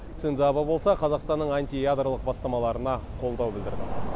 синдзо абэ болса қазақстанның антиядролық бастамаларына қолдау білдірді